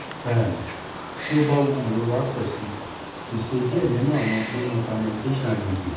um ti o ba wu irora pọ si si ṣe diẹ ninu awọn gbona fermentation agbegbe